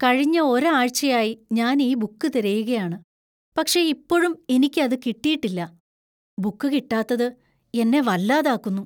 കഴിഞ്ഞ ഒരാഴ്ചയായി ഞാൻ ഈ ബുക്ക് തിരയുകയാണ്, പക്ഷേ ഇപ്പോഴും എനിക്ക് അത് കിട്ടിയിട്ടില്ല. ബുക്ക് കിട്ടാത്തത് എന്നെ വല്ലാതാക്കുന്നു.